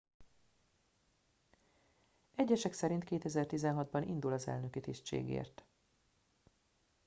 egyesek szerint 2016 ban indul az elnöki tisztségért